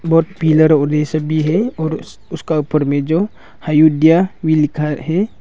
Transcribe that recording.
और पिलर और ये सब भी है और उसका ऊपर में जो हयुड्या भी लिखा है।